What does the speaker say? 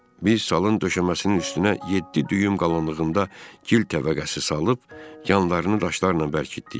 Biz salın döşəməsinin üstünə yeddi düyüm qalınlığında gil təbəqəsi salıb, yanlarını daşlarla bərkitdik.